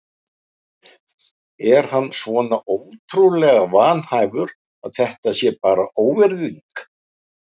Er hann svona ótrúlega vanhæfur að þetta sé bara óvirðing?